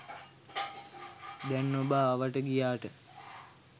දැන් ඔබ ආවාට ගියාට